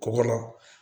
Kɔgɔ la